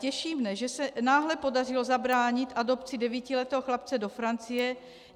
Těší mne, že se náhle podařilo zabránit adopci devítiletého chlapce do Francie.